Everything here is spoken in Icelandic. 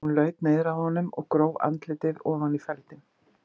Hún laut niður að honum og gróf andlitið ofan í feldinn.